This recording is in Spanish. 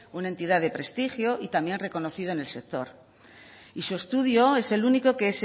una entidad de prestigio y también reconocida en el sector y su estudio es el único que